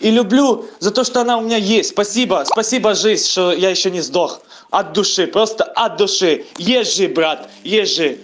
и люблю за то что она у меня есть спасибо спасибо жизнь что я ещё не сдох от души просто от души ежи брат ежи